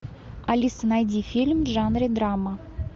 алиса найди фильм в жанре драма